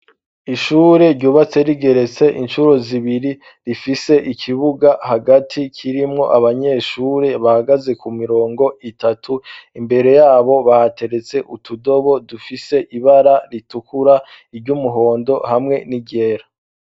ishure ryubatse rigeretse incuro zibiri rifise ikibuga hagati kirimwo abanyeshuri bahagaze ku mirongo itatu imbere yabo bahateretse utudobo dufise ibara ritukura iry'umuhondo hamwe n'iryera